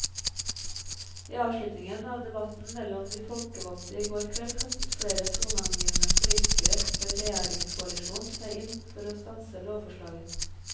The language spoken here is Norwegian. I avslutningen av debatten mellom de folkevalgte i går kveld kastet flere toneangivende politikere fra regjeringskoalisjonen seg inn for å stanse lovforslaget.